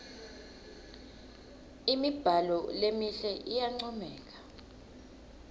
imibhalo lemihle iyancomeka